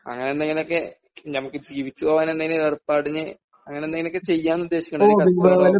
അങ്ങനെ എന്തെങ്കിലുമൊക്കെ നമുക്ക് ജീവിച്ചുപോകാൻ എന്തെങ്കിലും ഏർപ്പാടിന് അങ്ങനെ എന്തെങ്കിലുമൊക്കെ ചെയ്യാന്ന് ഉദ്ദേശിക്കണ്